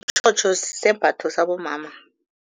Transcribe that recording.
Sisembatho sabomama.